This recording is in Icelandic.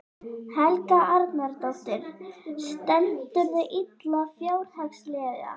Helga Arnardóttir: Stendurðu illa fjárhagslega?